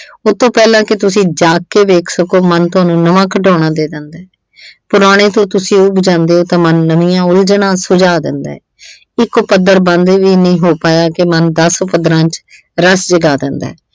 ਉਹਤੋਂ ਪਹਿਲਾਂ ਕਿ ਤੁਸੀਂ ਜਾਗ ਕੇ ਦੇਖ ਸਕੋ, ਮਨ ਤੁਹਾਨੂੰ ਨਵਾਂ ਖਿਡੌਣਾ ਦੇ ਦਿੰਦਾ। ਪੁਰਾਣੇ ਤੋਂ ਤੁਸੀਂ ਉਬ ਜਾਂਦੇ ਓ ਤਾਂ ਮਨ ਨਵੀਆਂ ਉਲਝਣਾਂ ਸੁਝਾ ਦਿੰਦਾ। ਇੱਕ ਪੱਧਰ ਬੰਦ ਵੀ ਨਈਂ ਹੋ ਪਾਇਆ ਕਿ ਮਨ ਦਸ ਪੱਧਰਾਂ ਚ ਰਸ ਜਗਾ ਦਿੰਦਾ।